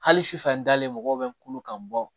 Hali sufɛ n dalen mɔgɔw bɛ n kun kan bɔ